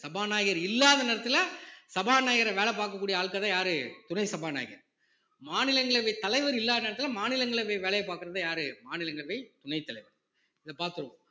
சபாநாயகர் இல்லாத நேரத்துல சபாநாயகர் வேலை பார்க்கக்கூடிய ஆட்கள்தான் யாரு துணை சபாநாயகர் மாநிலங்களவைத் தலைவர் இல்லாத நேரத்துல மாநிலங்களவை வேலையை பார்க்கிறது யாரு மாநிலங்களவை துணைத் தலைவர் இத பாத்துருவோம்